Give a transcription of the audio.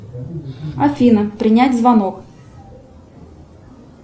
афина принять звонок